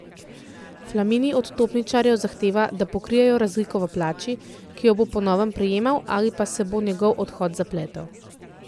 Flamini od topničarjev zahteva, da pokrijejo razliko v plači, ki jo bo po novem prejemal, ali pa se bo njegov odhod zapletel.